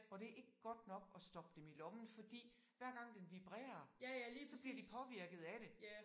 Og det ikke godt nok at stoppe dem i lommen fordi hver gang den vibrerer så bliver de påvirket af det